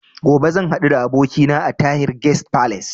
Gobe zan haɗu da abokina a Tahir Guest Falace